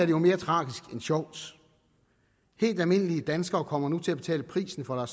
jo mere tragisk end sjovt helt almindelige danskere kommer nu til at betale prisen for